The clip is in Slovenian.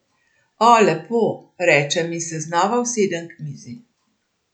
O, lepo, rečem in se znova usedem k mizi.